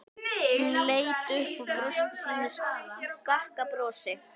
Hún leit upp og brosti sínu skakka brosi.